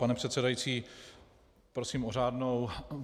Pane předsedající, prosím o řádnou.